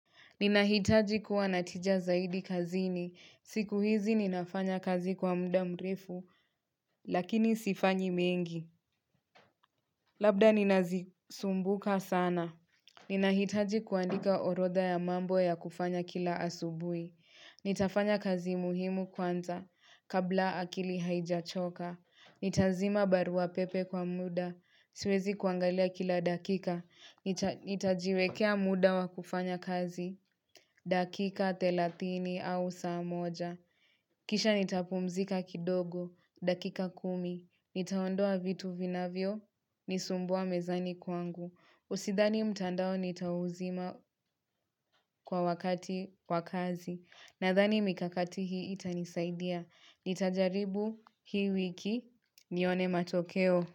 Ninahitaji kuwa na tija zaidi kazini. Siku hizi ninafanya kazi kwa mda mrefu, lakini sifanyi mengi. Labda ninazisumbuka sana. Ninahitaji kuandika orodha ya mambo ya kufanya kila asubuhi. Nitafanya kazi muhimu kwanza, kabla akili haijachoka. Nitazima barua pepe kwa muda, siwezi kuangalia kila dakika Nitajiwekea muda wa kufanya kazi, dakika thelatini au saa moja Kisha nitapumzika kidogo, dakika kumi. Nitaondoa vitu vinavyo, nisumbua mezani kwangu. Usidhani mtandao nitauzima kwa wakati kwa kazi. Nadhani mikakati hii itanisaidia. Nitajaribu hii wiki nione matokeo.